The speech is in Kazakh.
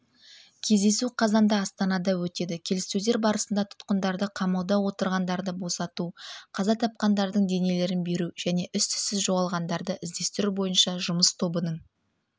кездесу қазанда астанада өтеді келіссөздер барысында тұтқындарды қамауда отырғандарды босату қаза тапқандардың денелерін беру және іс-түзсіз жоғалғандарды іздестіру бойынша жұмыс тобының